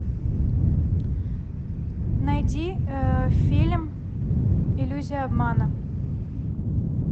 найди фильм иллюзия обмана